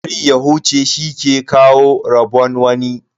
A bari ya huce shi ke kawo rabon wani.